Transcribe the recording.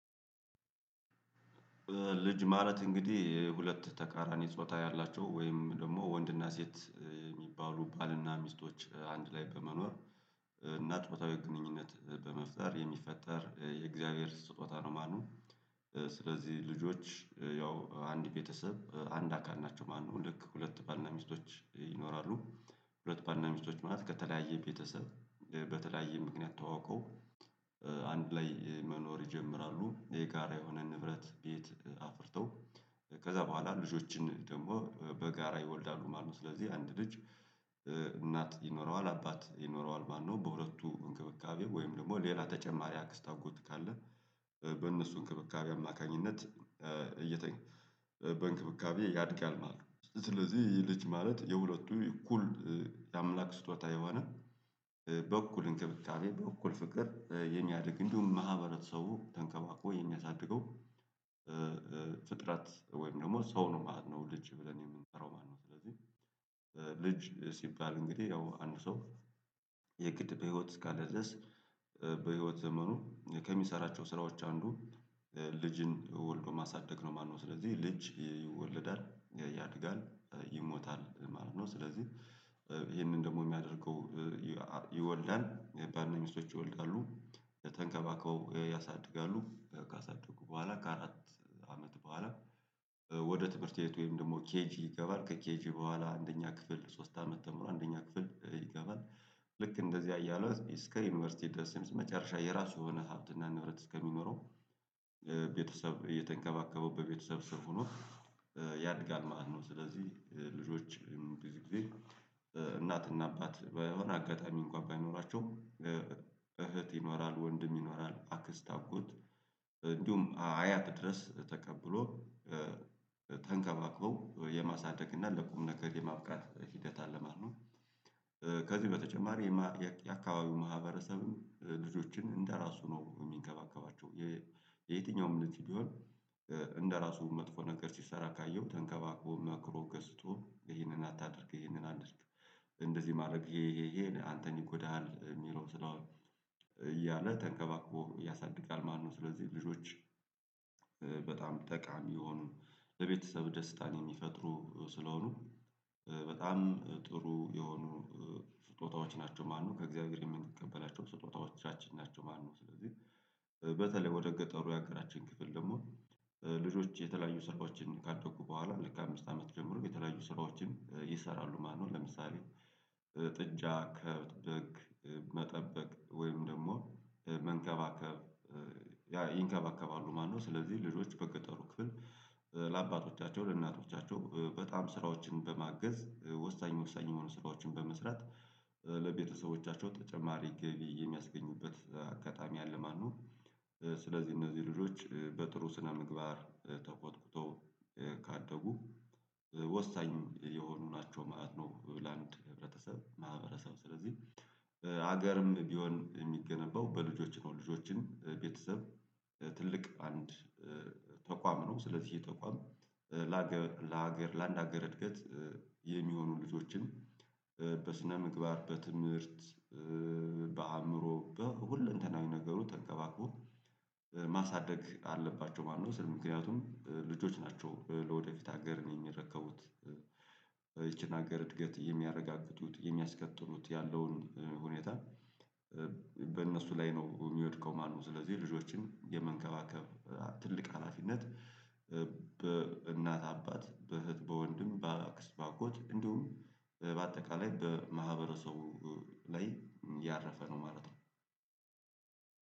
ልጅ ማለት እንግዲህ ሁለት ተቃራኒ ጾታ ያላቸው ወይም ደግሞ ወንድና ሴት የሚባሉ ባልና ሚስቶች አንድ ላይ በመኖር እና ጾታዊ ግንኙነት በመፍጠር የሚፈጠር የእግዚአብሔር ስጦታ ነው ማለት ነው። ስለዚህ ልጆች ያው አንድ ቤተሰብ አንድ አካል ናቸው ማለትው ልክ ሁለት ባልና ሚስቶች ይኖራሉ። ሁለት ባልና ሚስቶች ማለት ከተለያየ ቤተሰብ በተለያየ ምክንያት ተዋውቀው አንድ ላይ መኖር ይጀምራሉ የጋራ የሆነ ንብረት ቤት አፍርተው ከዛ በኋላ ልጆችን ደግሞ በጋራ ይወልዳሉ ማለት ነው። ስለዚህ አንድ ልጅ እናት ይኖረዋል አባት ይኖረዋል ማለት ነው። በሁለቱ እንክብካቤ ወይም ደግሞ ሌላ ተጨማሪ አክስት አጎት ካለ በእነሱ እንክብካቤ አማካኝነት እየተኛ በእንክብካቤ ያድጋል ማለት ነው። ስለዚህ ይሄ ልጅ ማለት የሁለቱ እኩል የአምላክ ስጦታ የሆነ በኩል በእክብካቤ በእኩል ፍቅር የሚያአደግ እንዲሁም ማህበረተሰቡ ተንከባክቦ የማያሳድገው ፍጥረት ወይም ደግሞ ሰው ነው ማለት ነው። ልጅ ብለን የምንሰራው ማለት ነው ስለዚህ ልጅ ሲባል እንግዲህ ያው አንድ ሰው የግድ በህይወት እስከለ ድረስ በህይወት ዘመኑ ከሚሰራቸው ስራዎች አንዱ ልጅን ወልዶ ማሳደግ ነው ማለት ነው። ስለዚህ ልጅ ይወለዳል ያድጋል ይሞታል ማለት ነው። ስለዚህ ይሄንን ደግሞ የሚያደርገው ባልና ሚስቶች ይወልዳሉ ተንከባከበው ያሳድጋሉ ካሳደጉ በኋላ ከአራት አመት በኋላ ወደ ትምህርት ቤት ወይም ደግሞ ኬጂ ይገባል ከኬጂ በኋላ አንደኛ ክፍል ሶስት አመት ተምሮ አንደኛ ክፍል ይገባል። ልክ እንደዚህ እያሉ እስከ ዩኒቨርሲቲ ደርስ መጨረሻ የራሱ የሆነ ሀብትና ንብረት እስከሚኖረው ቤተሰብ እየተንከባከበው በቤተሰብ ስር ሆኖ ያድጋል ማለት ነው። ስለዚህ ልጆችም ብዙ ጊዜ እናትና አባት በሆነ አጋጣሚ እንኳን ባይኖራቸው እህት ይኖራል ወንድም ይኖራል አክስት አጎት እንዲሁም አያት ድረስ ተቀብሎ ተንከባክበው የማሳደግ እና ለቁም ነገር የማብቃት ሂደት አለ ማለት ነው። ከዚህ በተጨማሪ የአካባቢው ማህበረሰብም ልጆችን እንደራሱ ነው የሚንከባከባቸው። የየትኛውም እምነት ሊሆን እንደራሱ መጥፎ ነገር ሲሰራ ካየሁ ተንከባክቦ መክሮ ገስጦ ይሄንን አታድርግ ይሄንን አንስቶ እንደዚህ ማድረግ ይሄ ይሄ አንተን ይጎዳሀል የሚለው ስለሆነ እያለ ተንከባክቦ ያሳድጋል። ማነው ስለዚህ ልጆች ጠቃሚ የሆኑ ለቤተሰብ ደስታን የሚፈጥሩ ስለሆኑ በጣም ጥሩ የሆኑ ስጦታዎች ናቸው ማነው ከእግዚአብሔር የምንቀበላቸው ስጦታዎቻችን ናቸው። ማነው ስለዚህ በተለይ ወደ ገጠሩ ያአገራችን ክፍል ደግሞ ልጆች የተለያዩ ስራዎችን ካደጉ በኋላ ልክ አምስት አመት ጀምሮ የተለያዩ ስራዎችም ይሰራሉ ማለት ነው። ለምሳሌ ጥጃ ከብት በግ መጠበቅ ወይም ደግሞ መንከባከብ ይንከባከባሉ ማነው ስለዚህ በገጠሩ ክፍል ለአባቶቻቸው ለእናቶቻቸው በጣም ስራዎችን በማገዝ ወሳኝ ወሳኝ የሆኑ ስራዎችን በመስራት ለቤተሰቦቻቸው ተጨማሪ ግቢ የሚያስገኙበት አጋጣሚ አለ ማለት ነው። ስለዚህ እነዚህ ልጆች በጥሩ ስነምግባር ተኮትኩተው ካደጉ ወሳኝ የሆኑ ናቸው ማለት ነው። ለአንድ ህብረተሰብ ማህበረሰብ ስለዚህ ሀገርም ቢሆን የሚገነባው በልጆች ነው ልጆችን ቤተሰብ ትልቅ አንድ ተቋም ነው። ስለዚህ ይህ ተቋም ላሀገር ላሀገር ላአንድ አገር እድገት የሚሆኑ ልጆችን በስነ ምግባር በትምህርት በአእምሮ በሁለንተናዊ ነገሩ ተንከባክቦ ማሳደግ አለባቸው ማለት ነው። ስለ ምክንያቱም ልጆች ናቸው ለወደፊት ሀገርን ነው የሚረከቡት ይቺን ሀገር እድገት የሚያረጋግጡት የሚያስቀጥሉት ያለውን ሁኔታ በእነሱ ላይ ነው የሚወድቀው ማለትነው። ስለዚህ ልጆችን የመንከባከብ ትልቅ ሀላፊነት በእናት አባት በእህት በወንድም በአክስት አጎት እንዲሁም በማህበረሰቡ ላይ ያረፈ ነው ማለት ነው።